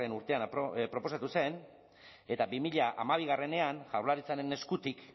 urtean proposatu zen eta bi mila hamabienean jaurlaritzaren eskutik